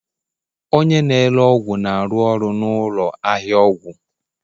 Onye na-ere ọgwụ na-arụ ọrụ na ụlọ ahịa ọgwụ